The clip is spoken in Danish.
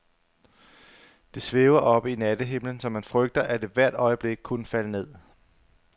Det svæver oppe i nattehimlen, så man frygter, at det hvert øjeblik kunne falde ned.